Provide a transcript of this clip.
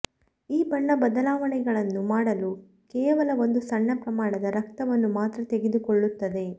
ಈ ಬಣ್ಣ ಬದಲಾವಣೆಗಳನ್ನು ಮಾಡಲು ಕೇವಲ ಒಂದು ಸಣ್ಣ ಪ್ರಮಾಣದ ರಕ್ತವನ್ನು ಮಾತ್ರ ತೆಗೆದುಕೊಳ್ಳುತ್ತದೆ